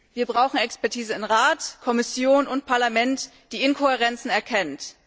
Wir brauchen Expertisen in Rat, Kommission und Parlament, die Inkohärenzen erkennen.